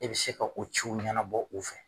Ne bi se ka o ciw ɲɛnabɔ u fɛ.